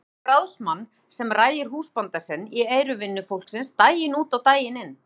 Hugsum okkur ráðsmann sem rægir húsbónda sinn í eyru vinnufólksins daginn út og daginn inn.